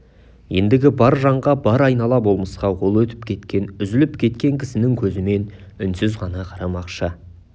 ендігі бар жанға бар айнала болмысқа ол өтіп кеткен үзіліп кеткен кісінің көзімен үнсіз ғана қарамақшы